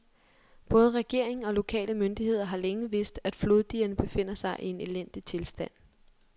Både regering og lokale myndigheder har længe vidst, at floddigerne befinder sig i en elendig tilstand.